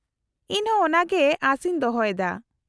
-ᱤᱧ ᱦᱚᱸ ᱚᱱᱟᱜᱮ ᱟᱥ ᱤᱧ ᱫᱚᱦᱚᱭ ᱫᱟ ᱾